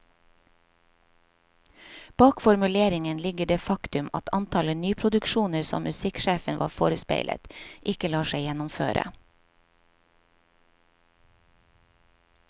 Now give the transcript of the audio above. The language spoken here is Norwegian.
Bak formuleringen ligger det faktum at antallet nyproduksjoner som musikksjefen var forespeilet, ikke lar seg gjennomføre.